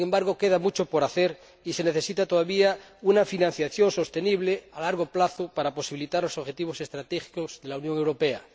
Sin embargo, queda mucho por hacer y se necesita todavía una financiación sostenible, a largo plazo, para posibilitar los objetivos estratégicos de la Unión Europea.